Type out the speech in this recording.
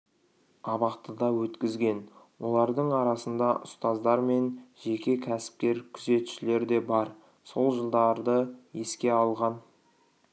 абақтыда өткізген олардың арасында ұстаздар мен жеке кәсіпкер күзетшілер де бар сол жылдарды еске алған